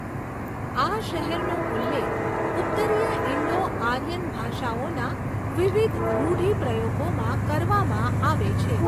આ શહેરનો ઉલ્લેખ ઉત્તરીય ઇન્ડો આર્યન ભાષાઓના વિવિધ રૂઢિપ્રયોગોમાં કરવામાં આવે છે.